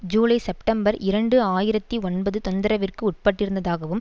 July September இரண்டு ஆயிரத்தி ஒன்பது தொந்திரவிற்கு உட்பட்டிருந்ததாகவும்